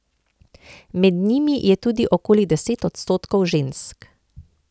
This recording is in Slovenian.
Med njimi je tudi okoli deset odstotkov žensk.